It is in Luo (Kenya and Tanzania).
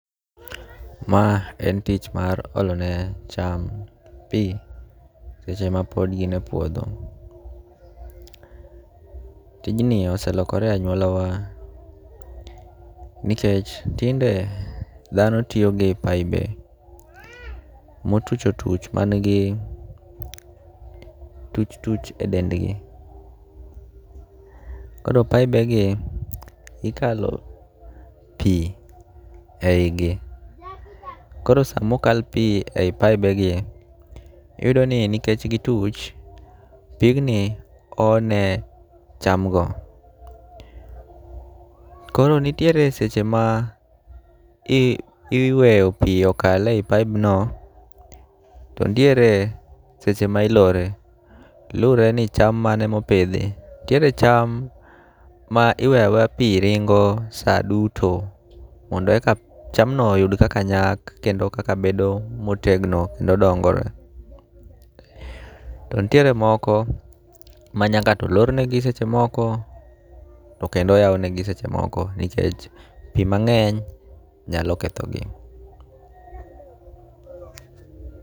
Ma en tich mar olo ne cham pi seche ma pod gin e puodho. Tijni oselokore e anyuola wa nikech tinde dhano tiyo gi pibe motuch otuch manigi tuch tuch e dendgi. Koro pibe gi ikalo pi e yi gi. Koro sama okal pi eyi pibe gi, iyudo ni nikech gituch, pig ni o ne cham go. Koro nitiere seche ma iweyo pi okale e pibe no, to nitiere seche ma ilore. Lure ni cham mane ma opidhi. Nitiere cham ma iweyo aweya pi ringo sa duto mondo eka cham no oyud kaka nyak kendo kaka bedo motegno kendo dongo. To nitiere moko ma nyaka to lornegi seche moko to kendo oywanegi seche moko nikech pi mang'eny nyalo ketho gi.